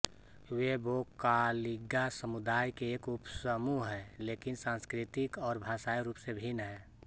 वे वोक्कालिगा समुदाय के एक उपसमूह हैं लेकिन सांस्कृतिक और भाषाई रूप से भिन्न हैं